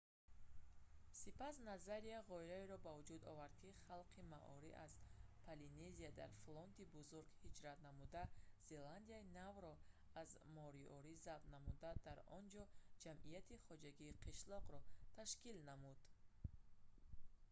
сипас назария ғояеро ба вуҷуд овард ки халқи маори аз полинезия дар флоти бузург ҳиҷрат намуда зеландияи навро аз мориори забт намуда дар он ҷо ҷамъияти хоҷагии қишлоқро ташкил намуд